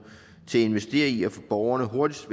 til at investere i at få borgerne hurtigst